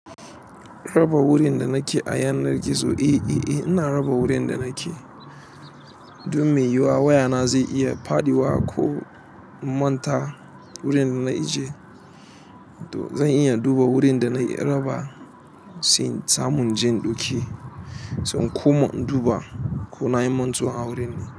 Raba wurin da nake a yanar gizo. Eh, eh, eh, ina raba wurin da nake. Don me yuwa wayana zai iya faɗi wa ko in manta wurin da na ijiye. To zan iya duba wurin da na raba, sai in samu in je in ɗauki. Zan koma in duba ko nayi mantuwa a wurin.